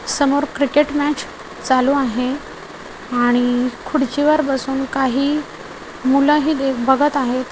समोर cricket match चालू आहे आणि खुर्चीवर बसून काही मुलं हे दे-- बघत आहेत.